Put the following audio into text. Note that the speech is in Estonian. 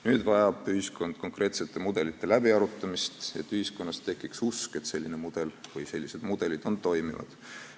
Nüüd vajab ühiskond konkreetsete mudelite läbiarutamist, et tekiks usk, et selline mudel või sellised mudelid on toimivad.